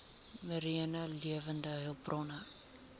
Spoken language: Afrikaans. mariene lewende hulpbronne